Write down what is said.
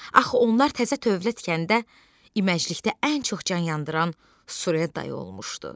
Axı onlar təzə dövlət tikəndə iməcilikdə ən çox can yandıran Surə dayı olmuşdu.